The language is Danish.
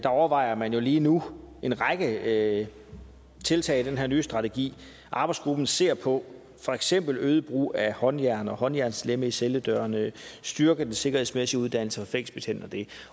overvejer man jo lige nu en række tiltag i den nye strategi arbejdsgruppen ser på for eksempel øget brug af håndjern og håndjernslemme i celledørene og at styrke den sikkerhedsmæssige uddannelse af fængselsbetjente det